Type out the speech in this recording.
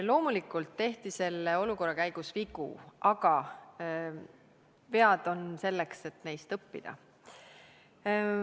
Loomulikult tehti selle olukorra käigus vigu, aga vead on selleks, et neist õppida.